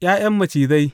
’Ya’yan macizai!